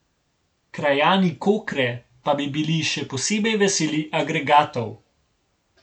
Krajani Kokre pa bi bili še posebej veseli agregatov.